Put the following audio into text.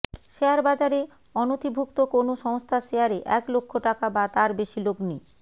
শেয়ারবাজারে অনথিভুক্ত কোনও সংস্থার শেয়ারে এক লক্ষ টাকা বা তার বেশি লগ্নি